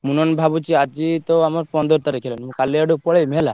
ନ ହେନେ ଭାବୁଛି ଆଜି ତ ଆମର ପନ୍ଦର୍ ତାରିଖ୍ ହେଲାଣି ମୁଁ କାଲି ଆଡକୁ ପଲେଇମି ହେଲା।